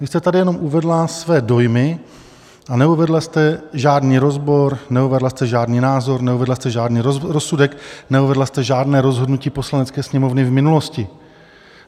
Vy jste tady jenom uvedla své dojmy a neuvedla jste žádný rozbor, neuvedla jste žádný názor, neuvedla jste žádný rozsudek, neuvedla jste žádné rozhodnutí Poslanecké sněmovny v minulosti.